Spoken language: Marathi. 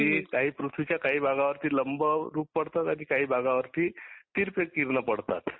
ती काही पृथ्वीच्या काही भागावर लंब रूप पडतात आणि काही भागावरती तिरप किरण पडतात